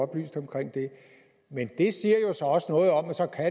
oplyst om det men det siger jo også noget om at så kan